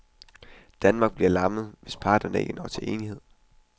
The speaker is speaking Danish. Danmark bliver lammet, hvis parterne ikke når til enighed.